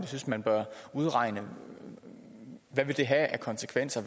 synes man bør udregne hvad det vil have af konsekvenser